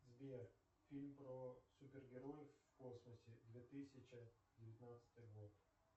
сбер фильм про супергероев в космосе две тысячи девятнадцатый год